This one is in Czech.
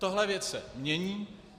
Tahle věc se mění.